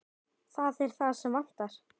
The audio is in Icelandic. Það er það sem vantar.